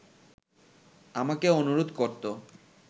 আমাকে অনুরোধ করত